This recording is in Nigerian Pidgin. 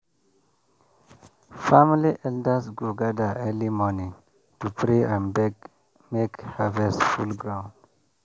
family elders go gather early morning to pray and beg make harvest full ground.